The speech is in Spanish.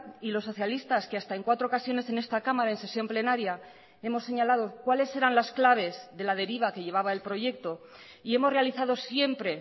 y los socialistas que hasta en cuatro ocasiones en esta cámara en sesión plenaria hemos señalado cuáles eran las claves de la deriva que llevaba el proyecto y hemos realizado siempre